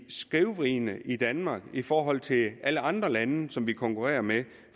skævvridende i danmark i forhold til alle andre lande som vi konkurrerer med